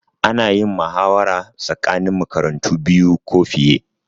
Ana yin muhawara tsakanin makarantu biyu ko fiye